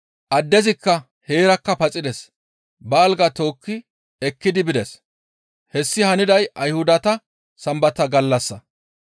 Addezikka heerakka paxides; ba algaa tookki ekkidi bides. Hessi haniday Ayhudata Sambata gallassa.